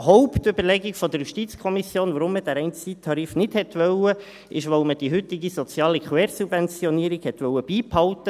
Hauptüberlegung der JuKo, weshalb man den reinen Zeittarif nicht wollte, war aber, dass man die heutige soziale Quersubventionierung beibehalten wollte.